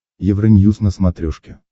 евроньюз на смотрешке